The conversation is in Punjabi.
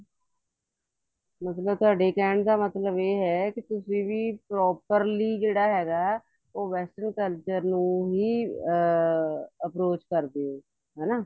ਮਤਲਬ ਤੁਹਾਡੇ ਕਹਿਣ ਦਾ ਮਤਲਬ ਇਹ ਹੈ ਤੁਸੀਂ ਵੀ properly ਜਿਹੜਾ ਹੈਗਾ ਉਹ western culture ਨੂੰ ਹੀ ਅਮ approach ਕਰਦੇ ਓ ਹਨਾ